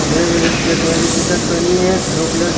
ये check colour की टी-शर्ट पहनी है एक ब्लू कलर --